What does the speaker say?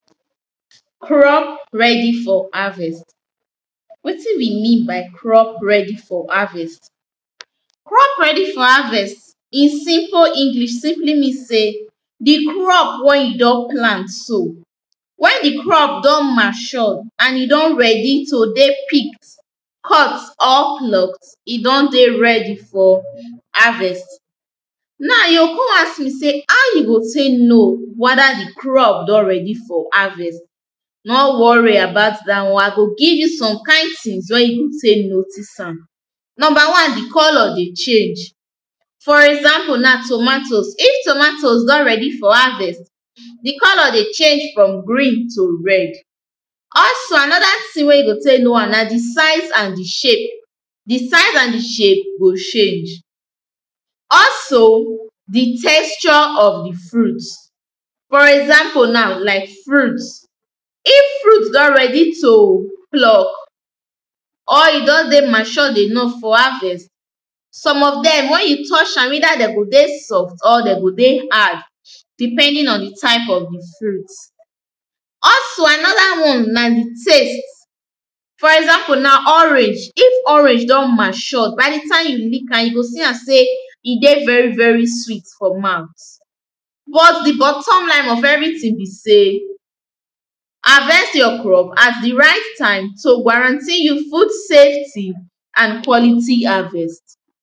Crop ready for harvest. Wetin we mean by crop ready for harvest. Crop ready for harvest in simple englis simply mean sey, the crop wey you don plant so, when the crop don mature and e don ready to dey picked, cut or plucked, e don dey ready for harvest. Now you con ask me sey how you go tey know wether the crop don ready for harvest, no worry about dat one I go give you some kind things wey you go tey notice am. Number one, the colour dey change, for example na tomatoes, if tomatoes don ready for harvest, the colour dey change from green to red. Also another thing wey you go tey know am, na the size and the shape, the size and the shape go change. Also the texture of the fruit, for example na like fruit. If fruit don ready to pluck or e don dey mature enough for harvest, some of dem when you touch am either de go dey soft or de go dey hard depending on the type of the fruit. Also, another one na the taste, for example na, orange, if orange don mature by the time you lick am, yoh see am sey e dey very very sweet for mouth. But the bottom line of everything be sey, harvest your crop at the right time to warranty you food safety and quality harvest.